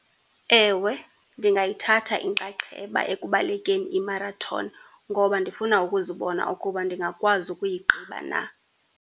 Ewe, ndingayithatha inxaxheba ekubalekeni imarathoni, ngoba ndifuna ukuzibona ukuba ndingakwazi ukuyigqiba na.